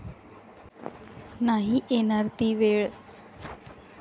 नाही येणार ती वेळ.